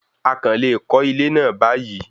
A kàn le kọ́ ilé náà báyìí